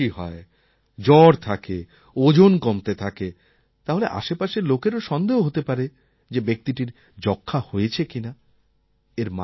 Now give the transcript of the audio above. যদি কাশি হয় জ্বর থাকে ওজন কমতে থাকে তাহলে আশেপাশের লোকেরও সন্দেহ হতে পারে যে ব্যক্তিটির যক্ষ্মা হয়েছে কিনা